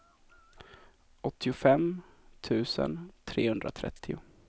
åttiofem tusen trehundratrettio